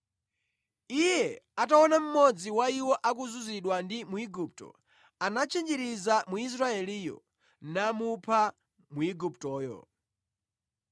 Iye ataona mmodzi wa iwo akuzunzidwa ndi Mwigupto, anatchinjiriza Mwisraeliyo, namupha Mwiguptoyo.